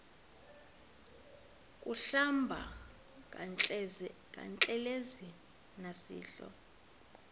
kuhlamba ngantelezi nasidlo